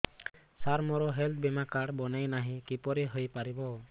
ସାର ମୋର ହେଲ୍ଥ ବୀମା କାର୍ଡ ବଣାଇନାହିଁ କିପରି ହୈ ପାରିବ